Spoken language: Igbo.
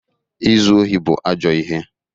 Izu ohi bụ ajọ ihe.